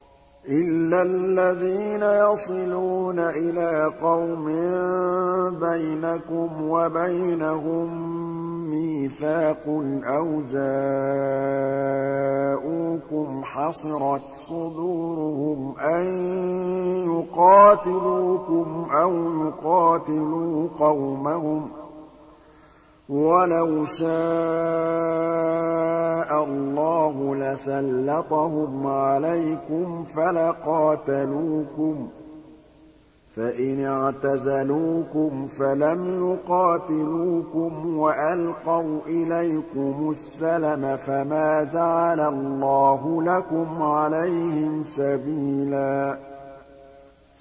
إِلَّا الَّذِينَ يَصِلُونَ إِلَىٰ قَوْمٍ بَيْنَكُمْ وَبَيْنَهُم مِّيثَاقٌ أَوْ جَاءُوكُمْ حَصِرَتْ صُدُورُهُمْ أَن يُقَاتِلُوكُمْ أَوْ يُقَاتِلُوا قَوْمَهُمْ ۚ وَلَوْ شَاءَ اللَّهُ لَسَلَّطَهُمْ عَلَيْكُمْ فَلَقَاتَلُوكُمْ ۚ فَإِنِ اعْتَزَلُوكُمْ فَلَمْ يُقَاتِلُوكُمْ وَأَلْقَوْا إِلَيْكُمُ السَّلَمَ فَمَا جَعَلَ اللَّهُ لَكُمْ عَلَيْهِمْ سَبِيلًا